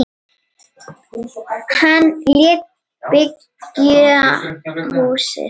Hann lét byggja húsið.